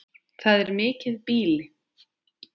Það er mikið býli.